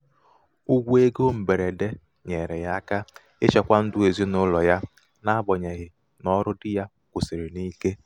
ụgwọ égo mgberede nyeere ya aka ichekwa ndụ ezinaụlọ ya n'agbanyeghị na ọrụ dị ya kwusìrị n'ike.